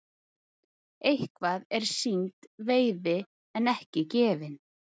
Eitthvað er sýnd veiði en ekki gefin